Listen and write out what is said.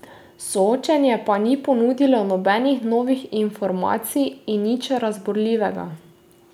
Soočenje pa ni ponudilo nobenih novih informacij in nič razburljivega.